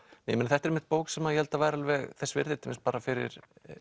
þetta er einmitt bók sem ég held að væri alveg þessi virði til dæmis bara fyrir